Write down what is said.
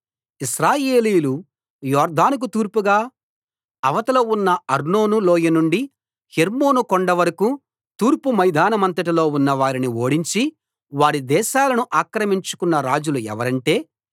ఇశ్రాయేలీయులు యొర్దానుకు తూర్పుగా అవతల ఉన్న అర్నోను లోయ నుండి హెర్మోను కొండ వరకూ తూర్పు మైదానమంతటిలో ఉన్న వారిని ఓడించి వారి దేశాలను ఆక్రమించుకొన్న రాజులు ఎవరంటే